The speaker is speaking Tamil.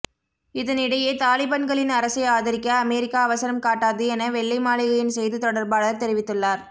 இதனிடையே தாலிபன்களின் அரசை ஆதரிக்க அமெரிக்கா அவசரம் காட்டாது என வெள்ளை மாளிகையின் செய்தி தொடர்பாளர் தெரிவித்துள்ளார்